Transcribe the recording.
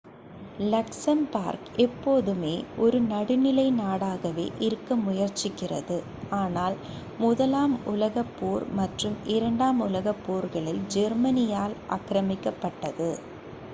Luxembourg எப்போதுமே ஒரு நடுநிலை நாடாகவே இருக்க முயற்சிக்கிறது ஆனால் முதலாம் உலகப் போர் மற்றும் இரண்டாம் உலகப் போர்களில் ஜெர்மனியால் ஆக்ரமிக்கப்பட்டது